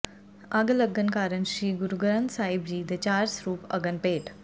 ਅੱਗ ਲੱਗਣ ਕਾਰਨ ਸ੍ਰੀ ਗੁਰੂ ਗ੍ਰੰਥ ਸਾਹਿਬ ਦੇ ਚਾਰ ਸਰੂਪ ਅਗਨ ਭੇਟ